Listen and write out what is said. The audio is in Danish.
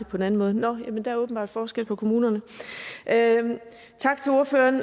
på en anden måde nå der er åbenbart forskel på kommunerne tak til ordføreren